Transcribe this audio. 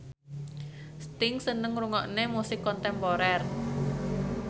Sting seneng ngrungokne musik kontemporer